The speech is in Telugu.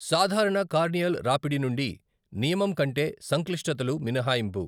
సాధారణ కార్నియల్ రాపిడి నుండి నియమం కంటే సంక్లిష్టతలు మినహాయింపు.